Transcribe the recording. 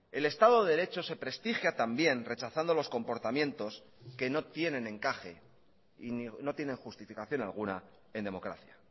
el estado de derecho se prestigia también rechazando los comportamientos que no tienen encaje y no tienen justificación alguna en democracia